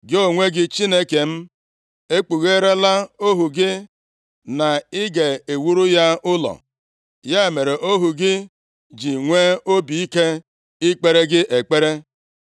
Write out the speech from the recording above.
“Gị onwe gị, Chineke m, e kpugheerela ohu gị na ị ga-ewuru ya ụlọ. Ya mere, ohu gị ji nwee obi ike ikpere gị ekpere.